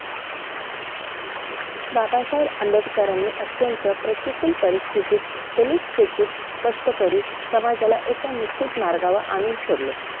बाबासाहेब आंबेडकरांनी अत्यंत प्रतिकूल परिस्थितीत दलित शोषित कष्टकरी समाजाला एका निश्चित मार्गावर आणून सोडले